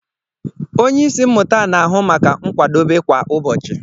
Onye isi mmụta na-ahụ maka nkwadebe kwa ụbọchị.